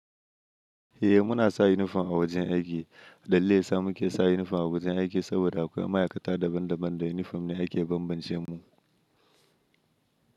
Eh muna sa uniform a wajen aiki. Dalilin daya sa muke sa uniform a wajen aiki saboda akwai ma'aikata daban daban da uniform ne ake bambance mu.